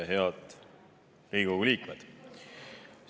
Head Riigikogu liikmed!